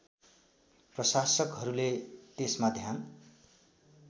प्रशासकहरूले त्यसमा ध्यान